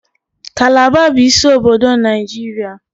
Kalaba bụ isi obodo Nigeria